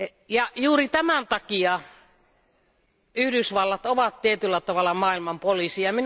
Ja juuri tämän takia Yhdysvallat ovat tietyllä tavalla maailman poliisi.